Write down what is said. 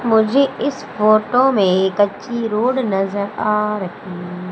मुझे इस फोटो में एक कच्ची रोड नजर आ रही--